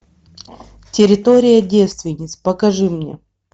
территория девственниц покажи мне